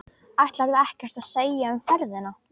Ætlarðu ekkert að segja um ferðina?